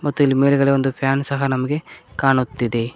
ಮತ್ತು ಇಲ್ಲಿ ಮೇಲ್ಗಡೆ ಒಂದು ಫ್ಯಾನ್ ಸಹ ನಮ್ಗೆ ಕಾಣುತ್ತಿದೆ.